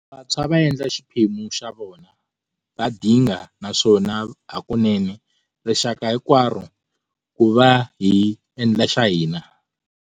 Vantshwa va endla xiphemu xa vona, va dinga, naswona hakunene, rixaka hinkwaro, ku va hi endla xa hina.